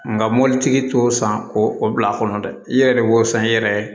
Nka mobilitigi t'o san k'o o bila a kɔnɔ dɛ i yɛrɛ de b'o san i yɛrɛ ye